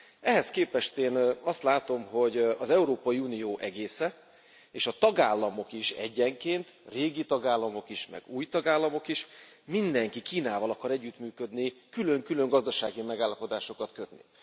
Ehhez képest én azt látom, hogy az Európai Unió egésze és a tagállamok is egyenként, régi tagállamok is, meg új tagállamok is, mindenki Kínával akar együttműködni, külön külön gazdasági megállapodásokat kötni.